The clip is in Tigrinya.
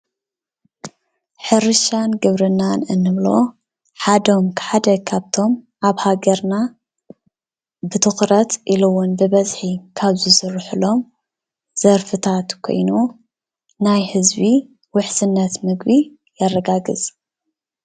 ሕርሻን ግብርናን እንብሎም ሓደ ካብቶም ኣብ ሃገርና ብትኩረት ኢሉዉን ብበዝሒ ካብ ዝስርሕሎም ዘርፍታት ኮይኑ ናይ ህዝቢ ውሕስነት ምግቢ የረጋግፅ፡፡